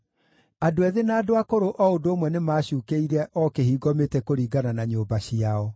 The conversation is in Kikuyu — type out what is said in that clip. Andũ ethĩ na andũ akũrũ o ũndũ ũmwe nĩmacuukĩire o kĩhingo mĩtĩ kũringana na nyũmba ciao.